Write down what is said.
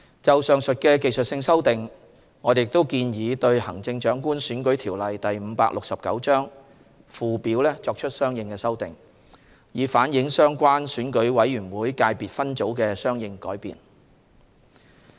就上述技術性修訂，我們亦建議對《行政長官選舉條例》附表作出相應修訂，以反映相關選舉委員會界別分組的相應改變。